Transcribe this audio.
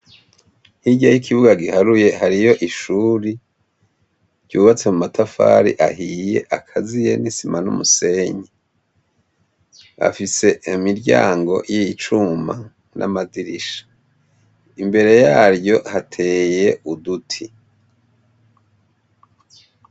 Hirya y'ikibuga giharuye hariyo ishuri, ryubatse mumatafari ahiye akaziye n'isima n'umusenyi. Afise imiryango y'icuma n'amadirisha. Imbere yaryo hateye uduti.